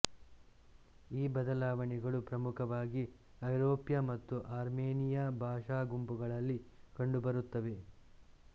ಈ ಬದಲಾವಣೆಗಳು ಪ್ರಮುಖವಾಗಿ ಐರೋಪ್ಯ ಮತ್ತು ಆರ್ಮೇನಿಯ ಭಾಷಾಗುಂಪುಗಳಲ್ಲಿ ಕಂಡುಬರುತ್ತವೆ